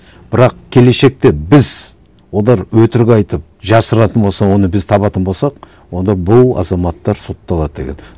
бірақ келешекте біз олар өтірік айтып жасыратын болса оны біз табатын болсақ онда бұл азаматтар сотталады деген